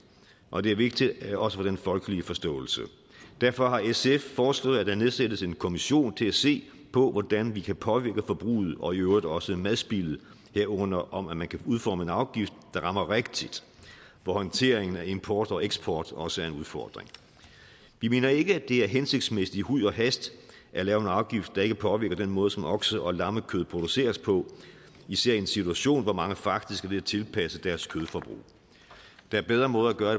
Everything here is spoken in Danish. og det er vigtigt også for den folkelige forståelse derfor har sf foreslået at der nedsættes en kommission til at se på hvordan vi kan påvirke forbruget og i øvrigt også madspildet herunder om at man kan udforme en afgift der rammer rigtigt hvor håndteringen af import og eksport også er en udfordring vi mener ikke det er hensigtsmæssigt i huj og hast at lave en afgift der ikke påvirker den måde som okse og lammekød produceres på især i en situation hvor mange faktisk er ved at tilpasse deres kødforbrug der er bedre måder